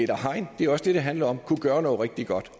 hegn det er også det det handler om og kunne gøre noget rigtig godt